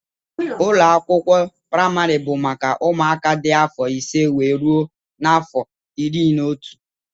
Ụlọakwụkwọ primari bụ maka ụmụaka dị afọ ise wee rụọ n'afọ ịrị na ọtú.